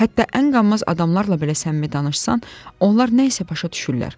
Hətta ən qanmaz adamlarla belə səmimi danışsan, onlar nə isə başa düşürlər.